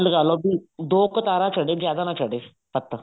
ਲਗਾਲੋ ਬੀ ਦੋ ਕਤਾਰਾਂ ਚੜੇ ਜਿਆਦਾ ਨਾ ਚੜੇ ਪੱਤਲ